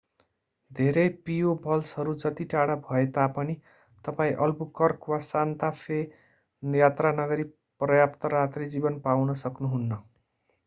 धेरै पियोबल्सहरू जति नै टाढा भए तापनि तपाईं अल्बुकर्क वा सान्ता फे यात्रा नगरी पर्याप्त रात्री जीवन पाउन सक्नुहुन्न